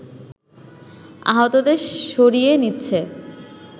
আহতদের সরিয়ে নিচ্ছে